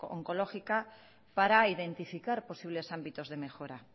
oncológica para identificar posibles ámbitos de mejora